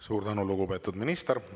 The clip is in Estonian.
Suur tänu, lugupeetud minister!